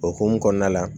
O hukumu kɔnɔna la